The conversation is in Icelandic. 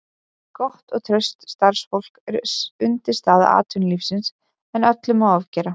Gott og traust starfsfólk er undirstaða atvinnulífsins en öllu má ofgera.